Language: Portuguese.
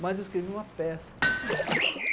Mas eu escrevi uma peça.